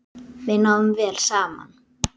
Við náðum vel saman.